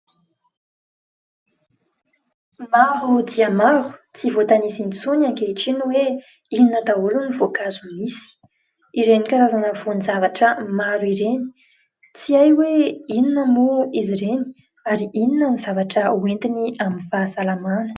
Maro dia maro tsy voatanisa intsony ankehitriny hoe inona daholo ny voankazo misy. Ireny karazana voan-javatra maro ireny. Tsy hay hoe inona moa izy ireny ary inona no zavatra ho entiny amin'ny fahasalamana.